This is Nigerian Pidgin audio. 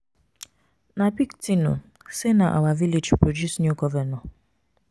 Na big thing um say na our village produce new governor